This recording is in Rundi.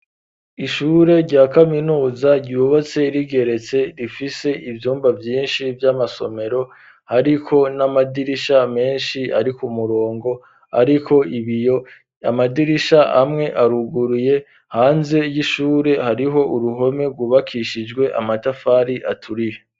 Ishure rya kaminuza ryubatse rigeretse rifise ivyumba vyinshi vy'amasomero hariko n'amadirisha menshi ari ku murongo, ariko ibiyo amadirisha amwe aruguruye hanze y'ishure hariho uruhome rwubakishijwe amatafari aturihe.